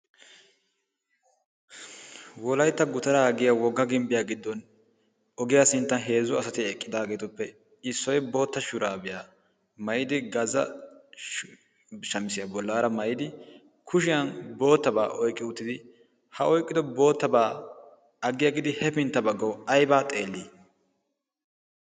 wolaitta gutaraa aggiya wogga gimbbiyaa giddon ogiyaa sinttan heezzo asati eqqidaageetuppe issoi bootta shuraabiyaa maidi gaza shamisiyaa bollaara maidi kushiyan boottabaa oiqqi uttidi ha oiqqido boottabaa aggiyaa giidi hefintta baggawu aibaa xeellii?